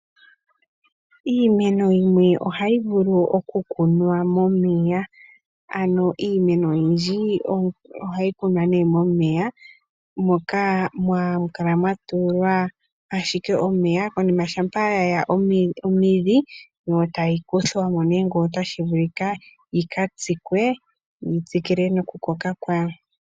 Iimeno yimwe ohayi vulu okukunwa momeya, hayi kumwa moka hamu kala ashike mwa kunwa omeya konima shampa yaningi omidhi ohayi kuthwamo ngele otashi vulika. Ohayi katsikwa yitsikile nokukoka kwayo.